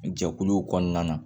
Jɛkuluw kɔnɔna na